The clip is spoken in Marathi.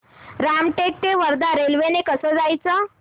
रामटेक ते वर्धा रेल्वे ने कसं जायचं